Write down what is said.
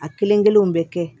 A kelen kelenw bɛ kɛ